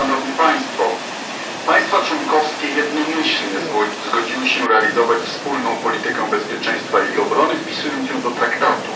Państwa członkowskie jednomyślnie zgodziły się realizować wspólną politykę bezpieczeństwa i obrony, wpisując ją do Traktatu.